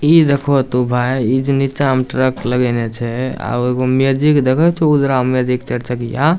इ देखबो त भाई इ जे नीचा में ट्रक लगेने छै आ एगो मैजिक देखो छो उजरा मैजिक चार चक्किया।